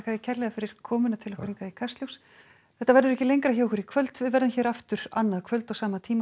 kærlega fyrir komuna í Kastljós þetta verður ekki lengra hjá okkur í kvöld við verðum hérna aftur annað kvöld á sama tíma